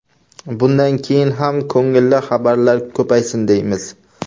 Bunday keyin ham ko‘ngilli xabarlar ko‘paysin, deymiz.